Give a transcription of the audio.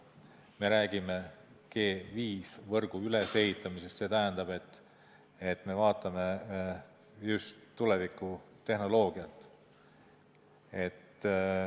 Me räägime 5G-võrgu ülesehitamisest, see tähendab, et me vaatame just tulevikutehnoloogiat.